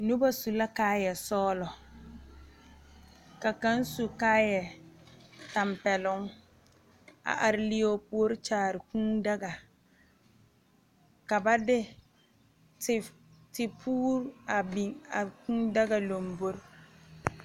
Noba su la kaayɛ sɔglɔ , ka kaŋa su kaayɛ tampɛloŋ, a are leɛ o puori. kyaare kʋʋ daga, ka ba de tipouri a biŋ a kʋʋ daga lambori.